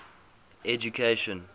education